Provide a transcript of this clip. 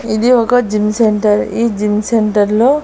ఇది ఒక gym centre ఈ జిమ్ సెంటర్ లో --